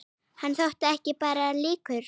Hann þótti ekki bara líkur